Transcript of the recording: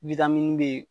be yen